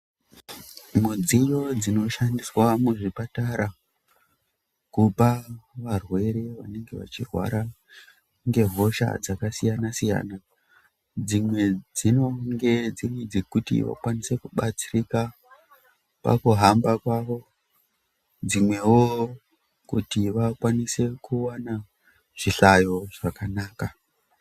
Midziyo dzinoshandiswa muzvipatara kupa varwere vanenge vachirwara ngehosha dzakasiyana-siyana dzimwe dzinenge dziri dzekuti vakwanise kubatsirika pakuhamba kwavo dzimwewo kuti vakwanise kuwana zvihlayo zvakanaka.